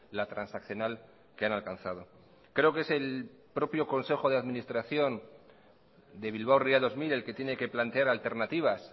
la transaccional que han alcanzado creo que es el propio consejo de administración de bilbao ría dos mil el que tiene que plantear alternativas